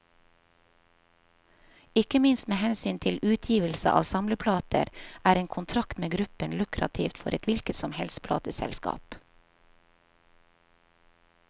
Ikke minst med hensyn til utgivelse av samleplater, er en kontrakt med gruppen lukrativt for et hvilket som helst plateselskap.